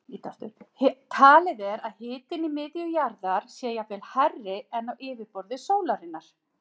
Talið er að hitinn í miðju jarðar sé jafnvel hærri en á yfirborði sólarinnar.